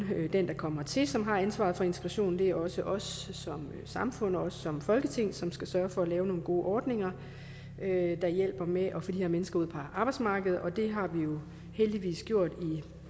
den der kommer hertil som har ansvaret for integrationen det er også os som samfund og os som folketing som skal sørge for at lave nogle gode ordninger der hjælper med at få de her mennesker ud på arbejdsmarkedet det har vi jo heldigvis gjort med